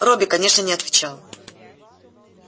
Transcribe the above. робби конечно не отвечал